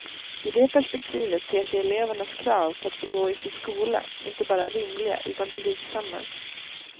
I det perspektivet ter sig elevernas krav på att få gå i sin skola inte bara rimliga utan blygsamma.